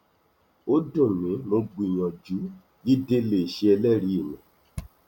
ó dùn mí mo gbìyànjú jíde lè ṣe ẹlẹrìí mi